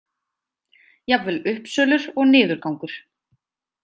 Jafnvel uppsölur og niðurgangur.